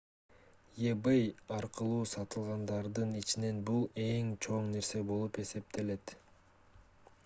ebay аркылуу сатылгандардын ичинен бул эң чоң нерсе болуп эсептелет